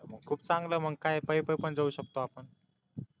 खूप चांगलय मग काय पायी पायी पण जाऊ शकतो आपण